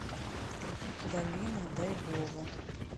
галина дайбова